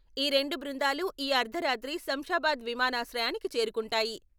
ఈ రెండు బృందాలు ఈ అర్ధరాత్రి శంషాబాదు విమానాశ్రయానికి చేరుకుంటాయి.